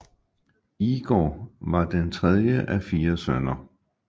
Igor var den tredje af fire sønner